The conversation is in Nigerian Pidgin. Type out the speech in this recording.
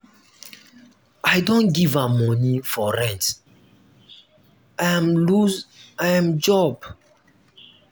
i don give am moni for rent im loose im job.